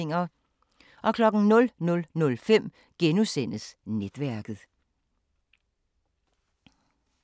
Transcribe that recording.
00:05: Netværket *